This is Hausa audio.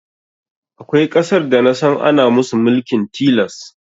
Akwai ƙasar da nasan ana musu mulkin tilas